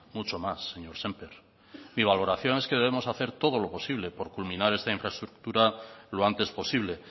mucho más señor sémper mi valoración es que debemos hacer todo lo posible por culminar esta infraestructura lo antes posible